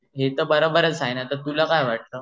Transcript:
हे तर बरोबरच आहे न तर तुला काय वात तो